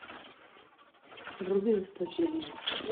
вруби жестокие люди